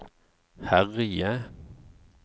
herje